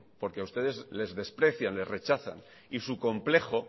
porque a ustedes les desprecian les rechazan y su complejo